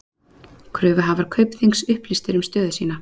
Kröfuhafar Kaupþings upplýstir um stöðu sína